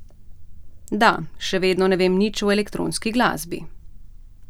Da, še vedno ne vem nič o elektronski glasbi.